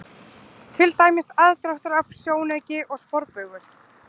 Til dæmis: aðdráttarafl, sjónauki og sporbaugur.